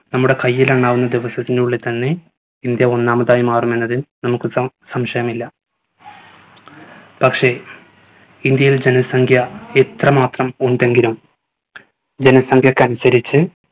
നമ്മുടെ കയ്യിലെണ്ണാവുന്ന ദിവസത്തിനുള്ളിൽ തന്നെ ഇന്ത്യ ഒന്നാമതായി മാറുമെന്നത് നമ്മുക്ക് സം സംശയമില്ല പക്ഷെ ഇന്ത്യയിൽ ജനസംഖ്യ എത്രമാത്രം ഉണ്ടെങ്കിലും ജനസംഖ്യക്ക് അനുസരിച്ച്